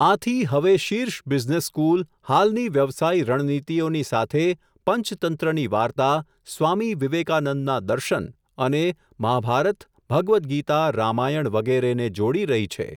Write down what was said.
આથી, હવે, શીર્ષ બિઝનેસ સ્કૂલ, હાલની વ્યવસાયી રણનીતિઓની સાથે, પંચતંત્રની વાર્તા, સ્વામી વિવેકાનંદના દર્શન, અને, મહાભારત, ભગવત્ ગીતા, રામાયણ, વગેરેને, જોડી રહી છે.